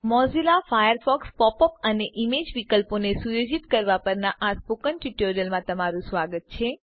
Mozilla ફાયરફોક્સમાં pop up અને image વિકલ્પોને સુયોજિત કરવા પરના સ્પોકન ટ્યુટોરીયલમાં તમારું સ્વાગત છે